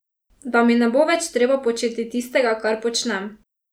Da mi ne bo več treba početi tistega, kar počnem.